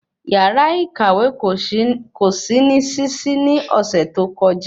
Yàrá ìkàwé kò sí ní ṣiṣi ni ọsẹ tó kọjá